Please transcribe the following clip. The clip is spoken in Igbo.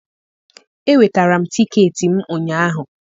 enwetara m tiketi m ụnyaahụ